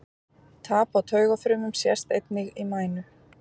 Tap á taugafrumum sést einnig í mænu.